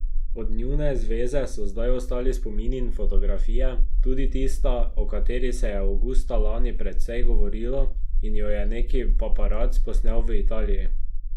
Od njune zveze so zdaj ostali spomini in fotografije, tudi tista, o kateri se je avgusta lani precej govorilo in jo je neki paparac posnel v Italiji.